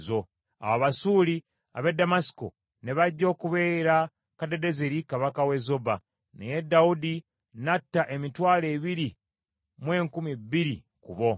Awo Abasuuli ab’e Ddamasiko ne bajja okubeera Kadadezeri kabaka w’e Zoba, naye Dawudi n’atta emitwalo ebiri mu enkumi bbiri ku bo.